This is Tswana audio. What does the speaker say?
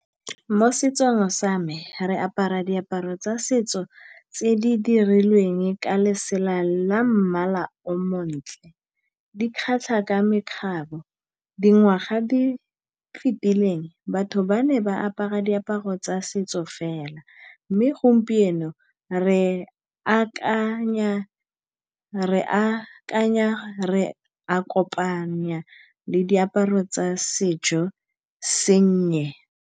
Mo setsong sa me re apara diaparo tsa setso tse di dirilweng ka lesela la mmala o montle, di kgatlha ka mekgabo. Dingwaga di fetileng batho ba ne ba apara diaparo tsa setso fela, mme gompieno re akanya, re a kopanya le diaparo tsa sejo sennye.